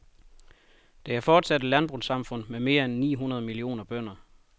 Det er fortsat et landbrugssamfund med mere end ni hundrede millioner bønder.